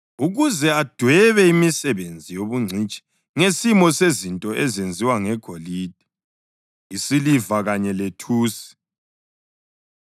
ukuze adwebe imisebenzi yobungcitshi ngesimo sezinto ezenziwa ngegolide, isiliva kanye lethusi,